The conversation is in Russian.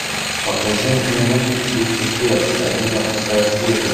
покажи мне мультик люцифер одиннадцатая серия